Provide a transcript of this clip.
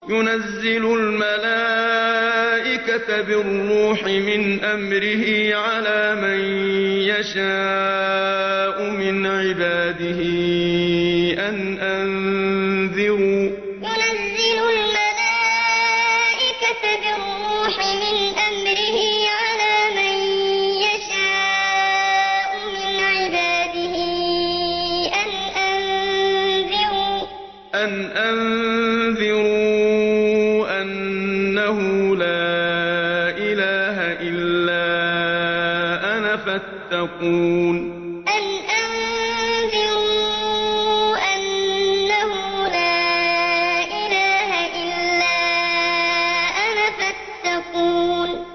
يُنَزِّلُ الْمَلَائِكَةَ بِالرُّوحِ مِنْ أَمْرِهِ عَلَىٰ مَن يَشَاءُ مِنْ عِبَادِهِ أَنْ أَنذِرُوا أَنَّهُ لَا إِلَٰهَ إِلَّا أَنَا فَاتَّقُونِ يُنَزِّلُ الْمَلَائِكَةَ بِالرُّوحِ مِنْ أَمْرِهِ عَلَىٰ مَن يَشَاءُ مِنْ عِبَادِهِ أَنْ أَنذِرُوا أَنَّهُ لَا إِلَٰهَ إِلَّا أَنَا فَاتَّقُونِ